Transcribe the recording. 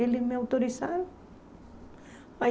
Eles me autorizaram.